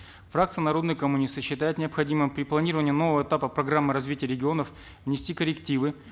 фракция народные коммунисты считает необходимым при планировании нового этапа программы развития регионов внести коррективы